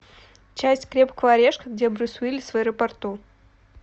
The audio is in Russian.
часть крепкого орешка где брюс уиллис в аэропорту